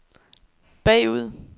bagud